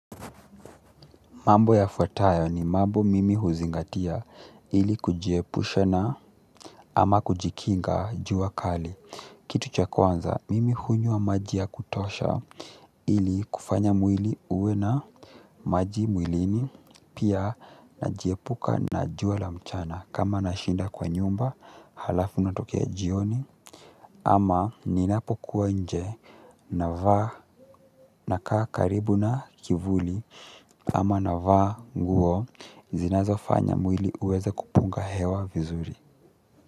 Mambo yafuatayo ni mambo mimi huzingatia ili kujiepusha na ama kujikinga jua kali. Kitu cha kwanza, mimi hunywa maji ya kutosha ili kufanya mwili uwe na maji mwilini pia najiepuka na jua la mchana. Kama nashinda kwa nyumba halafu natokea jioni ama ninapo kuwa nje navaa nakaa karibu na kivuli ama navaa nguo zinazofanya mwili uweze kupunga hewa vizuri.